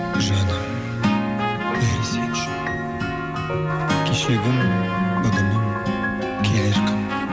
жаным сен үшін кешегі күн бүгінім келер күн